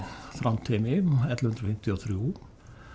Þrándheimi ellefu hundruð fimmtíu og þrjú